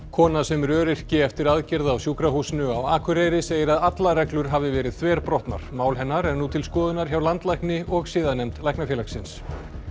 kona sem er öryrki eftir aðgerð á sjúkrahúsinu á Akureyri segir að allar reglur hafi verið þverbrotnar mál hennar er nú til skoðunar hjá landlækni og siðanefnd Læknafélagsins